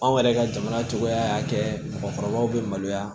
Anw yɛrɛ ka jamana cogoya y'a kɛ mɔgɔkɔrɔbaw bɛ maloya